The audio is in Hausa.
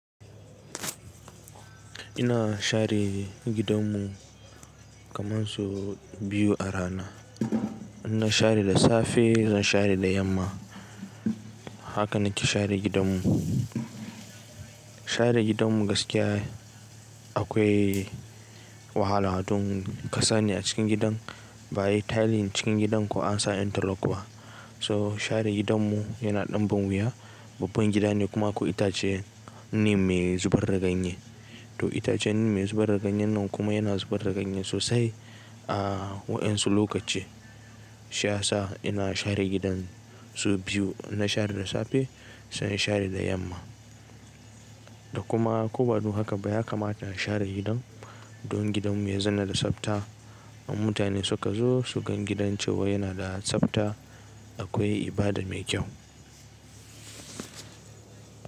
Ina share gidanmu kaman sau biyu a rana. In na share da safe zan share da yamma. Haka nake share gidanmu. Share gidanmu gaskiya akwai wahala, hatun kasa ne a cikin gidan ba a yi tiling cikin gidan ko an sa interlock ba. So share gidanmu yana ɗan ban wiya. Babban gida ne kuma ko itace ne mai zubar raganye. To itacen ne mai zubar raganye nan kuma yana zubar raganye sosai a wayansu lokaci. Shi ya sa ina share gidan su biyu. Na share da safe zan share da yamma. Da kuma ko badun haka ba ya kamata a share gidan don gidanmu ya zanna da tsafta. Mutane suka zo su gan gidan cewa yana da tsafta akwai ibada mai kyau.